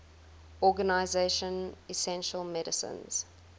organization essential medicines